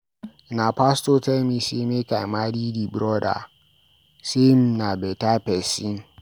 Na pastor tell me sey make I marry di broda, sey him na beta pesin.